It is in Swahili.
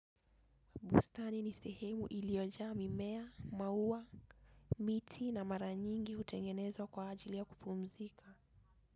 Bustani ni sehemu iliyojaa mimea, maua, miti na mara nyingi hutengenezwa kwa ajili ya kupumzika.